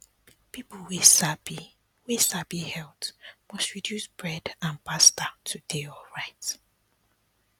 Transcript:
people wey sabi wey sabi health must reduce bread and pasta to dey alright